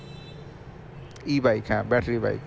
e-bike হ্যাঁ battery bike